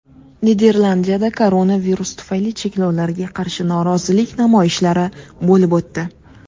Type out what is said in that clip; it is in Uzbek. Niderlandiyada koronavirus tufayli cheklovlarga qarshi norozilik namoyishlari bo‘lib o‘tdi .